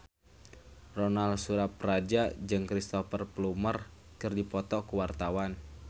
Ronal Surapradja jeung Cristhoper Plumer keur dipoto ku wartawan